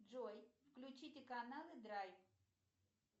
джой включите каналы драйв